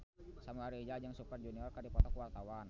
Samuel Rizal jeung Super Junior keur dipoto ku wartawan